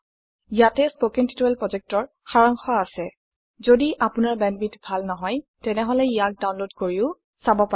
কথন শিক্ষণ প্ৰকল্পৰ সাৰাংশ ইয়াত আছে কথন শিক্ষণ প্ৰকল্পৰ সাৰাংশ ইয়াত আছে যদি আপোনাৰ বেণ্ডৱিডথ ভাল নহয় তেনেহলে ইয়াক ডাউনলোড কৰি চাব পাৰে